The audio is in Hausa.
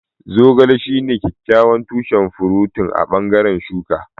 Zogale shine kyakkyawan tushen furotin a bangaren shuka.